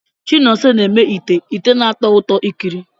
Chinonso na-eme ite ite na-atọ ụtọ ikiri.